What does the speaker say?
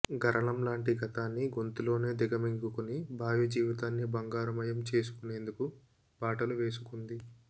గరళంలాంటి గతాన్ని గొంతులోనే దిగమింగుకుని భావి జీవితాన్ని బంగారుమయం చేసుకునేందుకు బాటలు వేసుకుంది